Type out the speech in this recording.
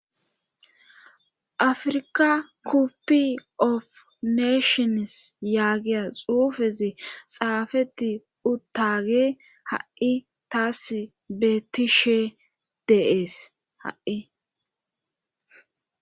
afrika koppi of neshons yaagiya xuufezi xaafeti uttage ha7i taass bettishe deees ha7i